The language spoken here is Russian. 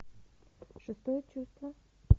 шестое чувство